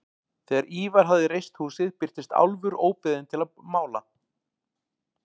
Þegar Ívar hafði reist húsið birtist Álfur óbeðinn til að mála.